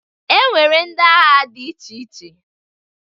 E nwere ndị agha dị iche iche